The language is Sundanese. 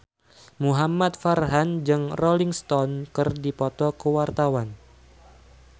Muhamad Farhan jeung Rolling Stone keur dipoto ku wartawan